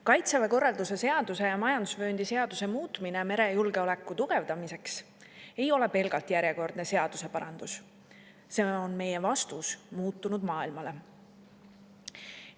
Kaitseväe korralduse seaduse ja majandusvööndi seaduse muutmine merejulgeoleku tugevdamiseks ei ole pelgalt järjekordne seaduseparandus – see on meie vastus muutunud maailmale.